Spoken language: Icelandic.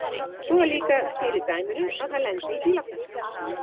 Svo er líka til í dæminu að hann lendi í bílapressunni.